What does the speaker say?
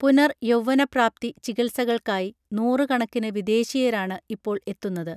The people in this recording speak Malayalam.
പുനർയൗവ്വനപ്രാപ്തി ചികിത്സകൾക്കായി നൂറ്കണക്കിന് വിദേശീയരാണ് ഇപ്പോൾ എത്തുന്നത്